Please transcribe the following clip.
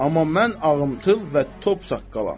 Amma mən ağımthıl və top saqqalam.